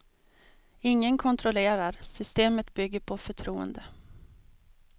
Ingen kontrollerar, systemet bygger på förtroende.